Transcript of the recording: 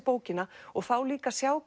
bókina og þá líka að sjá